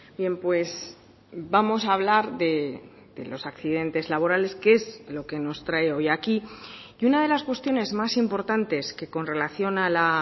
bien pues vamos a hablar de los accidentes laborales que es lo que nos trae hoy aquí y una de las cuestiones más importantes que con relación a la